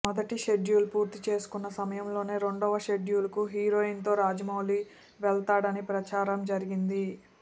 మొదటి షెడ్యూల్ పూర్తి చేసుకున్న సమయంలోనే రెండవ షెడ్యూల్కు హీరోయిన్స్తో రాజమౌళి వెళ్తాడని ప్రచారం జరిగింది